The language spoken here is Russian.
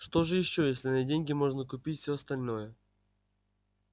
что же ещё если на деньги можно купить всё остальное